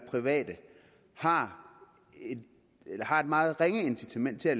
private har et meget ringe incitament til at